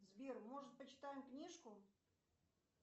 сбер может почитаем книжку